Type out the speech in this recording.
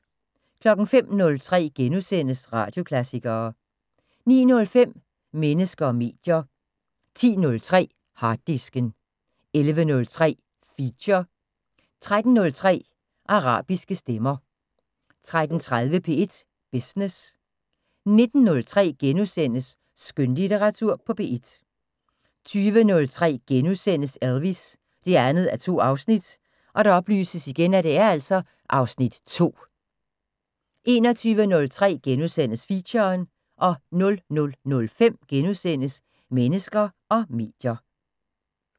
05:03: Radioklassikere * 09:05: Mennesker og medier 10:03: Harddisken 11:03: Feature 13:03: Arabiske stemmer 13:30: P1 Business 19:03: Skønlitteratur på P1 * 20:03: Elvis: 2:2 (Afs. 2)* 21:03: Feature * 00:05: Mennesker og medier *